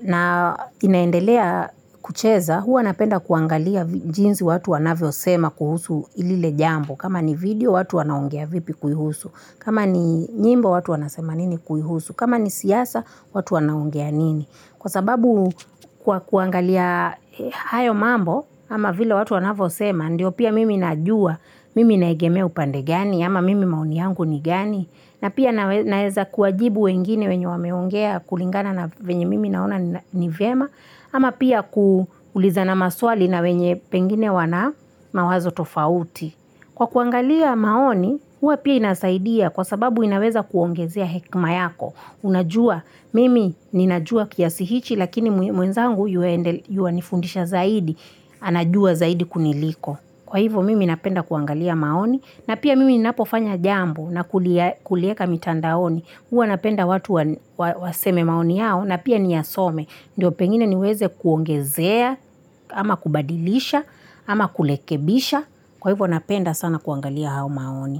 na inaendelea kucheza, huwa napenda kuangalia jinsi watu wanavyo sema kuhusu lile jambo. Kama ni video, watu wanaongea vipi kulihusu. Kama ni nyimbo, watu wanasema nini kuihusu. Kama ni siasa, watu wanaongea nini. Kwa sababu kwa kuangalia hayo mambo ama vile watu wanavosema ndio pia mimi najua mimi naegemea upande gani ama mimi maoni yangu ni gani na pia naeza kuwajibu wengine wenye wameongea kulingana na venye mimi naona ni vema ama pia kuulizana maswali na wenye pengine wana mawazo tofauti. Kwa kuangalia maoni, huwa pia inasaidia kwa sababu inaweza kuongezea hekima yako. Unajua, mimi ninajua kiasi hichi lakini mwenzangu yuwa nifundisha zaidi, anajua zaidi kuniliko. Kwa hivo mimi napenda kuangalia maoni na pia mimi ninapofanya jambo na kulieka mitandaoni. Huwa napenda watu waseme maoni yao na pia niya some. Ndiyo pengine niweze kuongezea, ama kubadilisha, ama kurekebisha. Kwa hivyo napenda sana kuangalia hao maoni.